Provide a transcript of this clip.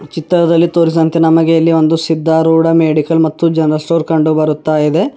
ಚಿತ್ರದಲ್ಲಿ ತೋರಿಸಿದಂತೆ ನಮಗೆ ಇಲ್ಲಿ ಒಂದು ಸಿದ್ದಾರೂಢ ಮೆಡಿಕಲ್ ಮತ್ತು ಜನರಲ್ ಸ್ಟೋರ್ ಕಂಡು ಬರುತ್ತಾಯಿದೆ.